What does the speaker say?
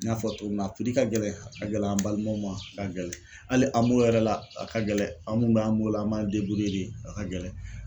N y'a fɔ cogo min na a piri ka gɛlɛn, a ka gɛlɛn an balimaw ma, a ka gɛlɛn hali AMO yɛrɛ la a ka gɛlɛn, an mun b'an bolo an b'an de a ka gɛlɛn.